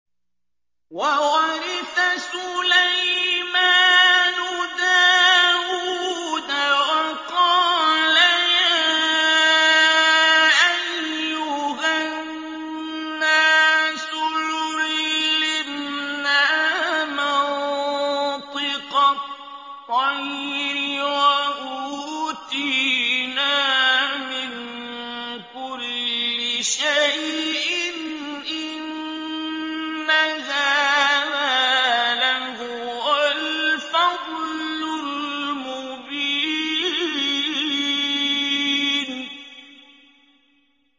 وَوَرِثَ سُلَيْمَانُ دَاوُودَ ۖ وَقَالَ يَا أَيُّهَا النَّاسُ عُلِّمْنَا مَنطِقَ الطَّيْرِ وَأُوتِينَا مِن كُلِّ شَيْءٍ ۖ إِنَّ هَٰذَا لَهُوَ الْفَضْلُ الْمُبِينُ